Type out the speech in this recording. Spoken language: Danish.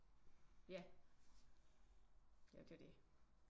Ja ja det er jo det